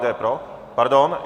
Kdo je pro? - Pardon.